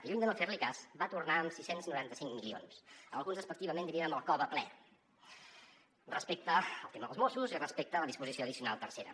i lluny de no fer·li cas va tornar amb sis cents i noranta cinc milions alguns despectivament dirien amb el cove ple respecte al tema dels mossos i respecte a la disposició addicional tercera